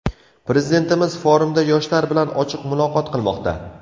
Prezidentimiz forumda yoshlar bilan ochiq muloqot qilmoqda.